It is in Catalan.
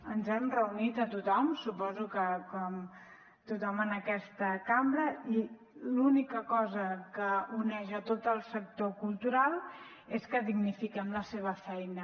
ens hem reunit amb tothom suposo que com tothom en aquesta cambra i l’única cosa que uneix tot el sector cultural és que dignifiquem la seva feina